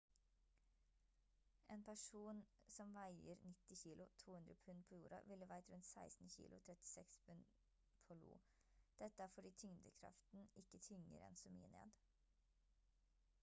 en person som veier 90 kg 200 pund på jorda ville veid rundt 16 kg 36 pund på io. dette er fordi tyngdekraften ikke tynger en så mye ned